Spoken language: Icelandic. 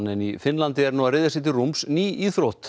í Finnlandi er nú að ryðja sér til rúms ný íþrótt